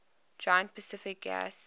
giant pacific gas